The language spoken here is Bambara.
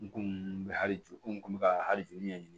N kun bɛ hali ju kun bɛ ka hali ju ɲɛɲini